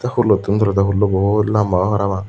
pulottun tulode pullo bahut lamba obo parapang.